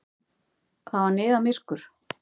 Það var niðamyrkur.